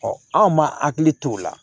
anw ma hakili t'o la